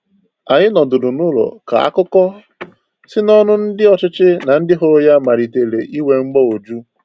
Anyị nọdụrụ n’ụlọ ka akụkọ si n’ọnụ ndị ọchịchị na ndị hụrụ ya malitere inwe mgbagwoju.